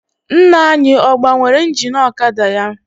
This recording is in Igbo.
Nna anyị ọ gbanwere ingin ọkada ya?